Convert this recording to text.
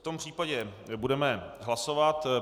V tom případě budeme hlasovat.